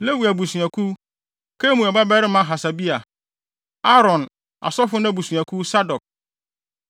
Lewi abusuakuw: Kemuel babarima Hasabia; Aaron (asɔfo no) abusuakuw: Sadok;